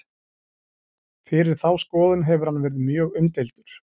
Fyrir þá skoðun hefur hann verið mjög umdeildur.